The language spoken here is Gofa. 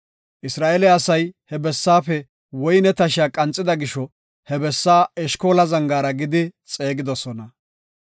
Isra7eele asay he bessaafe woyne tashiya qanxida gisho he bessaa Eshkola Zangaara gidi xeegidosona.